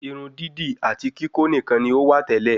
Irun dídì àti kikó nikan ni ó wà tẹ́lẹ̀